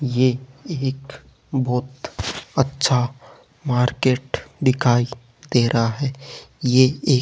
ये एक बहोत अच्छा मार्केट दिखाई दे रहा है ये एक --